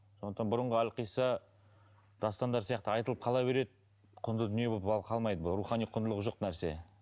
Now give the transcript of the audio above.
сондықтан бұрынғы әлқисса дастандар сияқты айтылып қала береді құнды дүние болып ал қалмайды бұл рухани құндылығы жоқ нәрсе